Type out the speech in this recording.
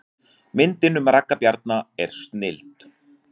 Myndin um Ragga Bjarna er snilld